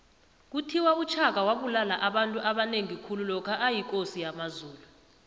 kuthiwa ushaka wabulala abantu abanengi khulu lokha yikosi yamazulu